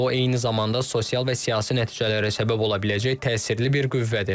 O eyni zamanda sosial və siyasi nəticələrə səbəb ola biləcək təsirli bir qüvvədir.